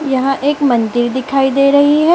यहां एक मंदिर दिखाई दे रही है।